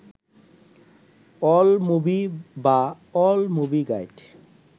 AllMovie বা All Movie guide